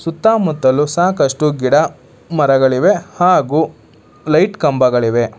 ಸುತ್ತಮುತ್ತಲು ಸಾಕಷ್ಟು ಗಿಡ ಮರಗಳಿವೆ ಹಾಗು ಲೈಟ್ ಕಂಬಗಳಿವೆ.